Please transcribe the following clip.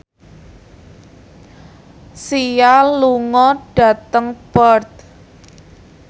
Sia lunga dhateng Perth